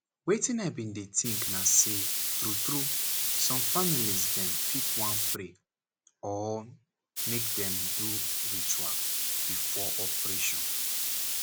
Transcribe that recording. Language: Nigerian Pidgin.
wetin i bin dey think na say true true some family dem fit wan pray or make dem do ritual before operation.